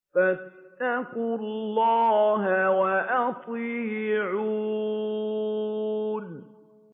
فَاتَّقُوا اللَّهَ وَأَطِيعُونِ